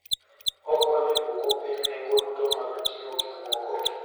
Okonyo e duoko piny nengo duto mag ting'o gik moko.